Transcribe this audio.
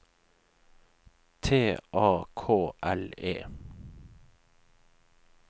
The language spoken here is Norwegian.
T A K L E